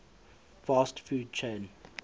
fast food chain